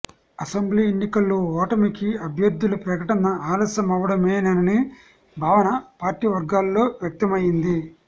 assembly ఎన్నికల్లో ఓటమికి అభ్యర్థుల ప్రకటన అలస్యమవడమేననే భావన పార్టీ వర్గాల్లో వ్యక్తమయింది